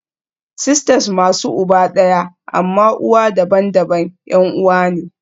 Sisters masu uba ɗaya amma uwa daban-daban 'yan uwa ne